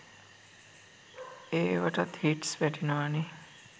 ඒවටත් hits වැටෙනවනේ!